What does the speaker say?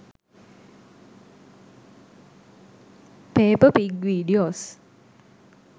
pepper pig videos